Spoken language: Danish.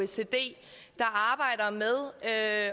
sig det er